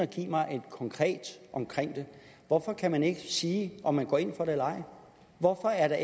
give mig noget konkret omkring det hvorfor kan man ikke sige om man går ind for det eller ej hvorfor er